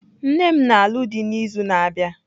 Nne m na-alụ dị n'izu na-abịa.